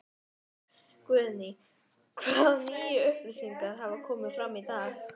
Guðný: Hvaða nýju upplýsingar hafa komið fram í dag?